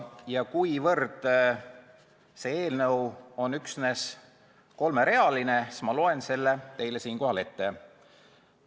Ja kuivõrd see eelnõu on üksnes kolmerealine, siis ma loen selle teile siinkohal ette.